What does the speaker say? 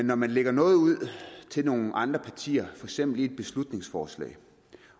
når man lægger noget ud til nogle andre partier eksempel i et beslutningsforslag